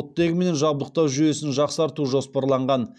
оттегімен жабдықтау жүйесін жақсарту жоспарланған